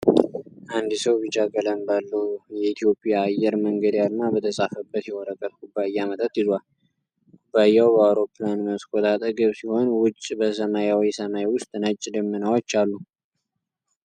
አንድ ሰው ቢጫ ቀለም ባለው፣ የኢትዮጵያ አየር መንገድ አርማ በተጻፈበት የወረቀት ኩባያ መጠጥ ይዟል። ኩባያው በአውሮፕላን መስኮት አጠገብ ሲሆን፣ ውጭ በሰማያዊ ሰማይ ውስጥ ነጭ ደመናዎች አሉ።